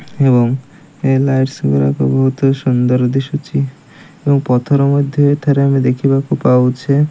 ଏବଂ ଏ ଲାଇଟସ ଗୁଡ଼ାକ ବହୁତ ସୁନ୍ଦର ଦିଶୁଛି ଏବଂ ପଥର ମଧ୍ୟ ଏଠାରେ ଆମେ ଦେଖିବାକୁ ପାଉଛେ।